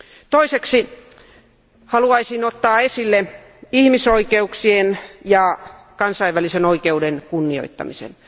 Toiseksi haluaisin ottaa esille ihmisoikeuksien ja kansainvälisen oikeuden kunnioittamisen.